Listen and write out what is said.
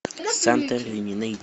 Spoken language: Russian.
санторини найди